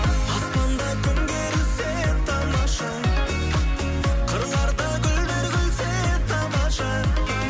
аспанда күн керілсе тамаша қырларда гүлдер күлсе тамаша